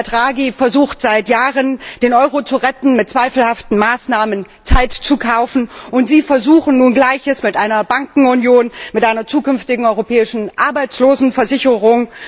Herr Draghi versucht seit Jahren, den Euro mit zweifelhaften Maßnahmen zu retten, Zeit zu kaufen, und Sie versuchen nun Gleiches mit einer Bankenunion, mit einer zukünftigen europäischen Arbeitslosenversicherung.